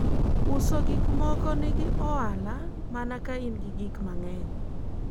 uuzaji bidhaa ina faida sana ukiwa na vitu vingi